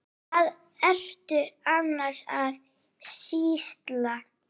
Hvað ertu annars að sýsla?